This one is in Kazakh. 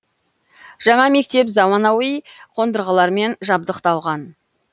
жаңа мектеп заманауи қондырғылармен жабдықталған